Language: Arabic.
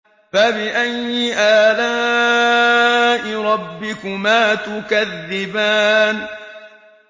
فَبِأَيِّ آلَاءِ رَبِّكُمَا تُكَذِّبَانِ